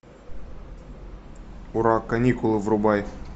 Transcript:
ура каникулы врубай